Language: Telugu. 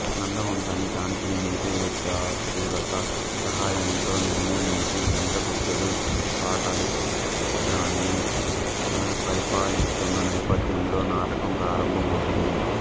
నందవంశాన్ని చాణక్యుని నీతి చతురత సహాయంతో నిర్మూలించి చంద్రగుప్తుడు పాటలీపుత్రాన్ని పరిపాలిస్తున్న నేపథ్యంలో నాటకం ప్రారంభం అవుతుంది